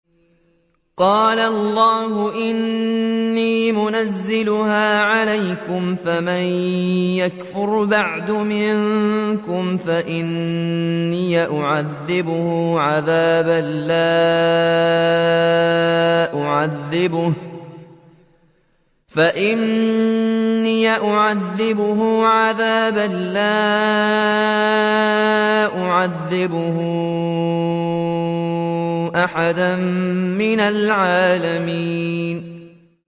قَالَ اللَّهُ إِنِّي مُنَزِّلُهَا عَلَيْكُمْ ۖ فَمَن يَكْفُرْ بَعْدُ مِنكُمْ فَإِنِّي أُعَذِّبُهُ عَذَابًا لَّا أُعَذِّبُهُ أَحَدًا مِّنَ الْعَالَمِينَ